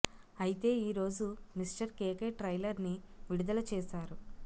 అయితే ఈ రోజు మిస్టర్ కెకె ట్రైలర్ ని విడుదల చేశారు